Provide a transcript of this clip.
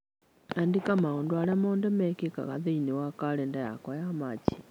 Andĩka maũndũ marĩa mothe mekĩkaga thĩinĩ wa kalendarĩ yakwa ya Machi